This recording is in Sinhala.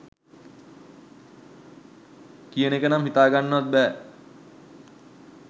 කියන එක නම් හිතාගන්නවත් බෑ.